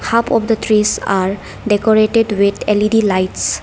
Half of the trees are decorated with L_E_D lights.